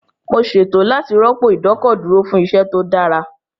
Mo ṣètò láti rọ́pò ìdọ́kọ̀dúró fún iṣẹ́ tó dára